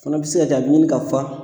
Fana be se ka kɛ a bi ɲini ka fa.